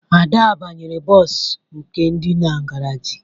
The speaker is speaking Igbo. Ada banyere bọọsụ nke dị na garaajị